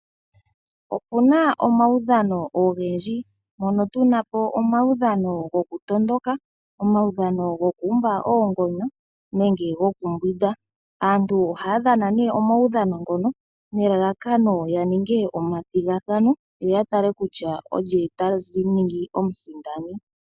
Opu na omawudhano ogendji. Mpono tu na po omawudhano gokutondoka, omawudhano gokuumba oongonyo nenge gokumbwinda. Aantu ohaa dhana nee omawudhano ngono nelalakano ya ninge omathigathano, yo ya tale kutya olye ta ningi omusindani.